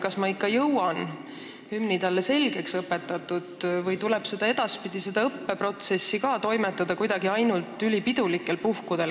Kas ma ikka jõuan talle hümni selgeks õpetatud või peab edaspidi ka see õppeprotsess ainult ülipidulikel puhkudel toimuma?